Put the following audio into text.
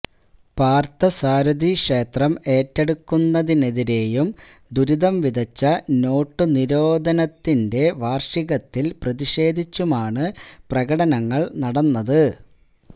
പാര്ഥസാരഥി ക്ഷേത്രം ഏറ്റെടുത്തതിനെതിരേയും ദുരിതംവിതച്ച നോട്ടുനിരോധനത്തിന്റെ വാര്ഷികത്തില് പ്രതിഷേധിച്ചുമാണ് പ്രകടനങ്ങള് നടന്നത്